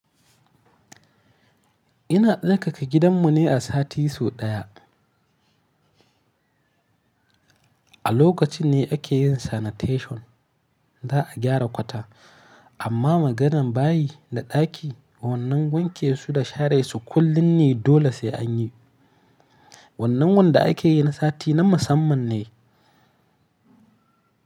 Ina tsarkake gidanmu ne a sati so ɗaya. A lokaci ne ake yin sanitation, za a gyara kwata. Amma maganan bayi da ɗaki, wannan wanke su da share su kullum ne dole sai an yi. Wannan wanda ake yi na sati na musamman ne.